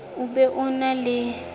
o be o na le